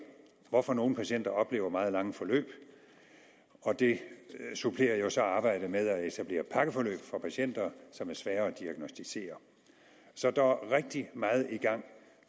hvorfor nogle patienter oplever meget lange forløb og det supplerer jo så arbejdet med at etablere pakkeforløb for patienter som er svære at diagnosticere så der er rigtig meget i gang